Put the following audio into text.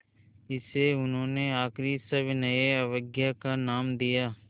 इसे उन्होंने आख़िरी सविनय अवज्ञा का नाम दिया